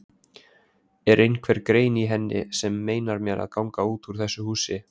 Er einhver grein í henni sem meinar mér að ganga út úr þessu húsi?